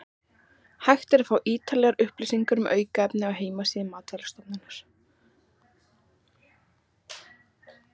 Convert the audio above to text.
Hægt er að fá ítarlegar upplýsingar um aukefni á heimasíðu Matvælastofnunar.